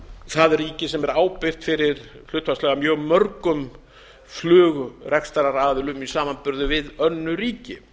það ríki sem er ábyrgð fyrir hlutfallslega mjög mörgum flugrekstraraðilum í samanburði við önnur ríki